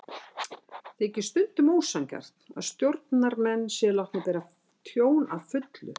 Þykir stundum ósanngjarnt að stjórnarmenn séu látnir bera tjón að fullu.